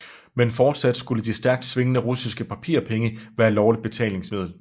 Men fortsat skulle de stærkt svingende russiske papirpenge være lovligt betalingsmiddel